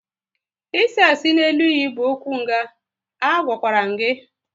Isi asị n'elu iyi bụ okwu nga, a gwakwara m gị!